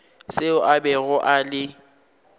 seo a bego a le